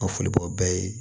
A foli b'o bɛɛ ye